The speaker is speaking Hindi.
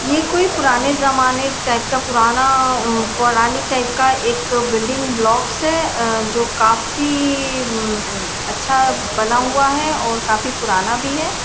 ये कोई पुराने ज़माने टाईप का पुराना अ पौराणिक टाईप का एक बिल्डिंग ब्लॉक्स है अ जो काफी म्म्म अच्छा बना हुआ है और काफी पुराना भी है।